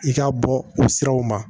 I ka bɔ o siraw ma